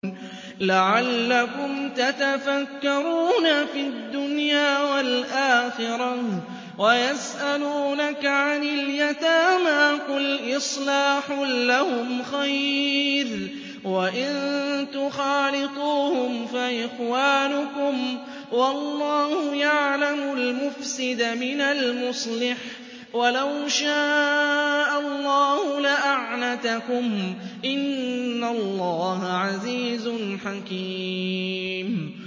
فِي الدُّنْيَا وَالْآخِرَةِ ۗ وَيَسْأَلُونَكَ عَنِ الْيَتَامَىٰ ۖ قُلْ إِصْلَاحٌ لَّهُمْ خَيْرٌ ۖ وَإِن تُخَالِطُوهُمْ فَإِخْوَانُكُمْ ۚ وَاللَّهُ يَعْلَمُ الْمُفْسِدَ مِنَ الْمُصْلِحِ ۚ وَلَوْ شَاءَ اللَّهُ لَأَعْنَتَكُمْ ۚ إِنَّ اللَّهَ عَزِيزٌ حَكِيمٌ